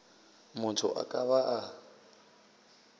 motho a ka ba a